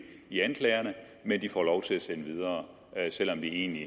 i anklagerne men får lov til at sende videre selv om de egentlig